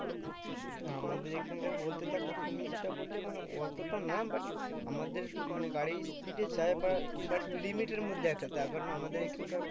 আমাদের এখানকার বলতে দেখো তুমি যেটা বলছো মানে অতটা না but আমাদের মানে গাড়ি speed এ যায় বা but limit এর মধ্যে আছে তার কারণ আমাদের এইখানকার